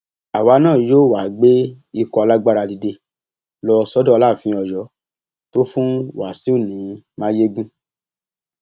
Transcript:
àwa náà yóò wáá gbé ikọ alágbára dìde lọ sọdọ aláàfin ọyọ tó fún wáṣíù ní mayegun